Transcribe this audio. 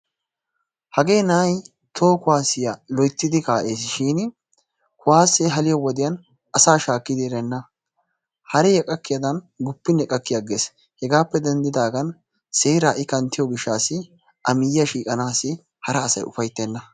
hagee na'ay toho kuwaasiya loytidi ka'ees shin, kuwaasee kaliyo wodiyan asaa shaakkidi erenna. haree qakkiyadan guppinne qakki agees, hegaappe dendddidaagan seeraa i kanttiyo gishaassi a miyiyako shooqanaassi hara asay ufayttenna.